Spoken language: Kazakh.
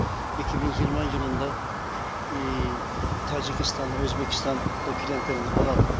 екі мың жиырма жылында тажикстан өзбекстан клиенттеріміз болады